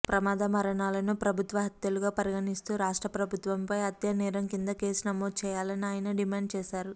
ప్రమాద మరణాలను ప్రభుత్వ హత్యలుగా పరిగణిస్తూ రాష్ట్ర ప్రభుత్వంపై హత్యానేరం కింద కేసు నమోదు చేయాలని ఆయన డిమాండు చేశారు